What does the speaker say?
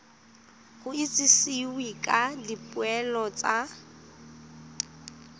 go itsisiwe ka dipoelo tsa